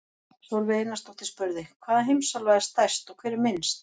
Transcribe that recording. Sólveig Einarsdóttir spurði: Hvaða heimsálfa er stærst og hver er minnst?